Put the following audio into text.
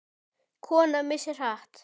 Kona missir hatt.